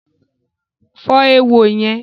Fọ́ éwo yẹn